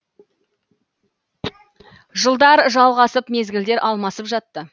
жылдар жалғасып мезгілдер алмасып жатты